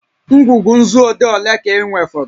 Ngwugwu nzu odee ole ka ị nwefọrọ?